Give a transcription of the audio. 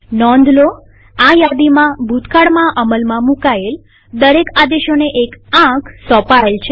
નોંધલોઆ યાદીમાંભૂતકાળમાં અમલમાં મુકાયેલ દરેક આદેશોને એક આંક સોંપાયેલ છે